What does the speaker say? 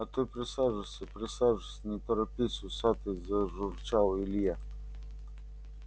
а ты присаживайся присаживайся не торопись усатый зажурчал илье